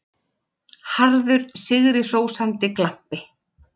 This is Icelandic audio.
Harður, sigrihrósandi glampi.